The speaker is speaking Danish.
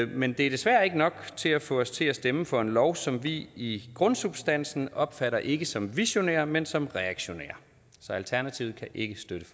men det er desværre ikke nok til at få os til at stemme for en lov som vi i grundsubstansen opfatter ikke som visionær men som reaktionær så alternativet kan ikke støtte